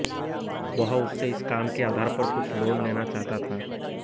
वह उससे इस काम के आधार पर कुछ लोन लेना चाहता था